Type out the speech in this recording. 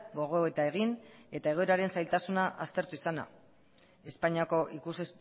gogoeta egin eta egoeraren zailtasuna aztertu izana espainiako ikus